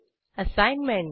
assignment